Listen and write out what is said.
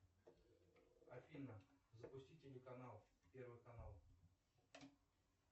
афина запусти телеканал первый канал